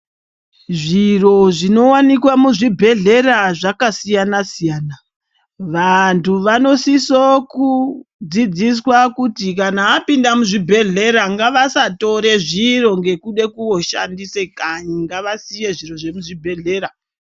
Zviro zvinowanikwa muzvibhedhlera zvakasiyana siyana. Vanhu vanosisokudzidziswa kuti kana vapinda muzvibhedhlera ngavasatore zviro ngekude kooshandise kanyi. Ngavasiye zviro zvemuchibhedhlera.